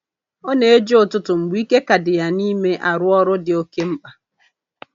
Ọ na-eji ụtụtụ mgbe ike ka dị ya n'ime arụ ọrụ dị oke mkpa